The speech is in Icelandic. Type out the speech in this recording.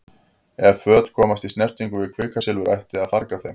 Ef föt komast í snertingu við kvikasilfur ætti að farga þeim.